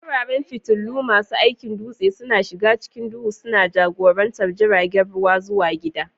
Wuraren fitilu, masu aikin dutse, suna shiga cikin duhu, suna jagorantar jiragen ruwa zuwa gida.